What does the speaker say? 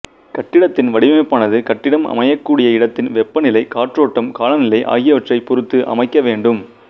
கட்டிடத்தின் வடிவமைப்பானது கட்டிடம் அமையக்கூடிய இடத்தின் வெப்பநிலை காற்றோட்டம் காலநிலை ஆகியவற்றை பொருத்து அமைக்க வேண்டும்